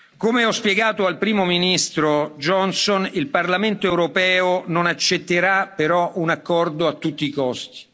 Come ho spiegato al Primo ministro Johnson, il Parlamento europeo non accetterà però un accordo a tutti i costi.